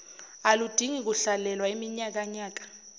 aludingi kuhlalelwa iminyakanyaka